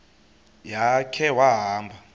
ya khe wahamba